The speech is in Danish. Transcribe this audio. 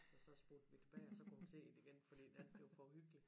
Og så spolede vi tilbage og så kunne hun se det igen fordi det andet blev for uhyggeligt